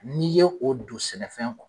N'i ye o don sɛnɛfɛn